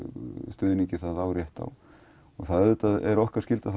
stuðningi það á rétt á og það er okkar skylda